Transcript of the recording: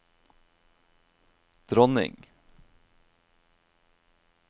dronning